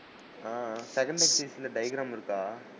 ஆஹ் ல diagram இருக்கா?